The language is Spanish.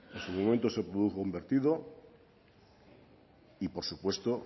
en su momento se produjo un vertido y por supuesto